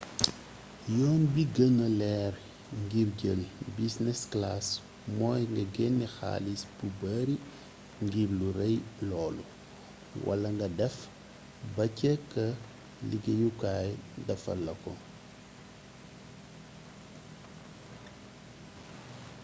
yoon bi gënna leer ngir jël business class mooy nga genne xaalis bu bare ngir lu rey loolu wala nga def ba ca kë liggéeyukaay defal la ko